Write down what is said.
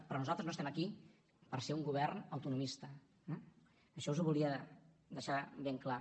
però nosaltres no estem aquí per ser un govern autonomista eh això us ho volia deixar ben clar